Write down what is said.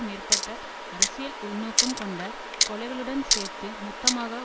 மேற்பட்ட அரசியல் உள்நோக்கம் கொண்ட கொலைகளுடன் சேர்த்து மொத்தமாக